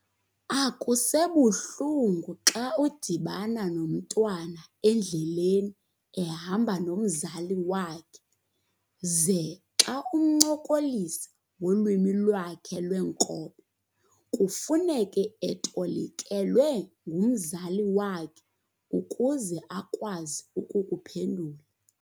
Akusebuhlungu xa udibana nomntwana endleleni ehamba nomzali wakhe, ze xa umncokolisa ngolwimi lwakhe lwenkobe kufuneke etolikelwe ngumzali wakhe ukuze akwazi ukukuphendula .